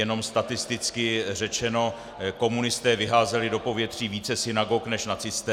Jenom statisticky řečeno, komunisté vyházeli do povětří více synagog než nacisté.